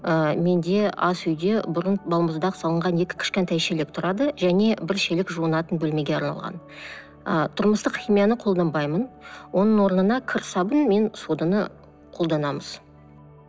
ы менде асүйде бұрын балмұздақ салынған екі кішкентай шелек тұрады және бір шелек жуынатын бөлмеге арналған ы тұрмыстық химияны қолданбаймын оның орнына кір сабын мен соданы қолданамыз